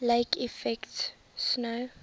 lake effect snow